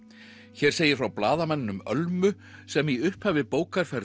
hér segir frá blaðamanninum Ölmu sem í upphafi bókar fær